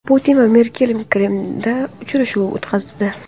Putin va Merkel Kremlda uchrashuv o‘tkazdi.